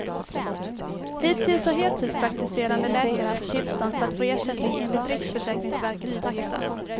Hittills har heltidspraktiserande läkare haft tillstånd för att få ersättning enligt riksförsäkringsverkets taxa.